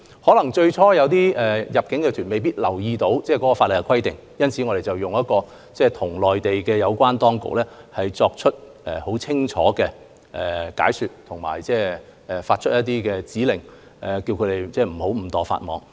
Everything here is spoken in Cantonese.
有部分入境旅行團最初可能沒有留意法例規定，因此我們已向內地有關當局作出清晰解說及發出指令，以免他們誤墮法網。